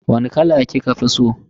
Wani kala kika fi so?